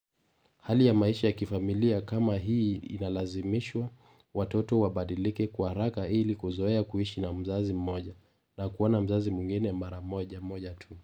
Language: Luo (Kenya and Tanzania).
Hali ya maisha ya kifamilia kama hii inalazimisha watoto wabadilike kwa haraka ili kuzoea kuishi na mzazi mmoja, na kuona mzazi mwingine mara moja moja tu.